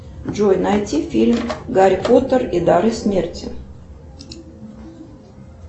джой найти фильм гарри поттер и дары смерти